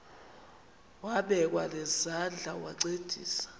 wabekwa nezandls wancedisa